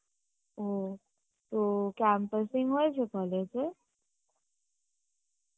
ও, তো campusing হয়েছে college এ?